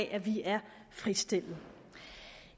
at vi er fritstillet